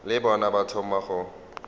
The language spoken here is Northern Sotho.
le bona ba thoma go